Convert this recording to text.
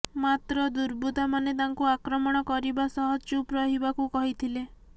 ମାତ୍ର ଦୁର୍ବୃତ୍ତାମାନେ ତାଙ୍କୁ ଆକ୍ରମଣ କରିବା ସହ ଚୁପ୍ ରହିବାକୁ କହିଥିଲେ